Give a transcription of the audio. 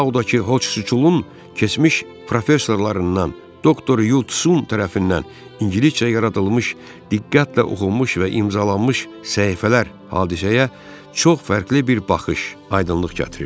Sinkdağdakı Hochun keçmiş professorlarından doktor Yusun tərəfindən ingiliscə yaradılmış, diqqətlə oxunmuş və imzalanmış səhifələr hadisəyə çox fərqli bir baxış, aydınlıq gətirir.